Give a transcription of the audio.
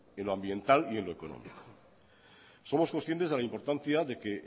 en lo ambiental y en lo económico somos conscientes de la importancia de que